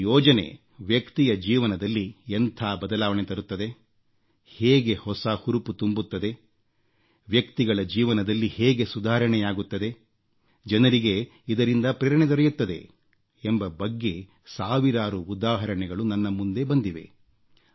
ಒಂದು ಯೋಜನೆ ವ್ಯಕ್ತಿಯ ಜೀವನದಲ್ಲಿ ಎಂಥ ಬದಲಾವಣೆ ತರುತ್ತದೆ ಹೇಗೆ ಹೊಸ ಹುರುಪು ತುಂಬುತ್ತದೆ ವ್ಯಕ್ತಿಗಳ ಜೀವನದಲ್ಲಿ ಹೇಗೆ ಸುಧಾರಣೆಯಾಗುತ್ತದೆ ಜನರಿಗೆ ಇದರಿಂದ ಪ್ರೇರಣೆ ದೊರೆಯುತ್ತದೆ ಎಂಬ ಬಗ್ಗೆ ಸಾವಿರಾರು ಉದಾಹರಣೆಗಳು ನನ್ನ ಮುಂದೆ ಬಂದಿವೆ